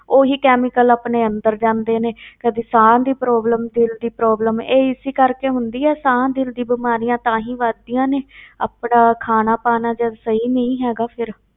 ਉਹੀ chemical ਆਪਣੇ ਅੰਦਰ ਜਾਂਦੇ ਨੇ ਕਦੇ ਸਾਹ ਦੀ problem ਦਿਲ ਦੀ problem ਇਹ ਇਸੇ ਕਰਕੇ ਹੁੰਦੀ ਹੈ, ਸਾਹ ਦਿਲ ਦੀਆਂ ਬਿਮਾਰੀਆਂ ਤਾਂ ਹੀ ਵੱਧਦੀਆਂ ਨੇ ਆਪਣਾ ਖਾਣਾ ਪਾਉਣਾ ਜਦ ਸਹੀ ਨਹੀਂ ਹੈਗਾ ਫਿਰ।